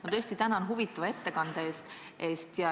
Ma väga tänan huvitava ettekande eest!